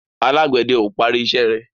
Alágbède o parí iṣé rẹ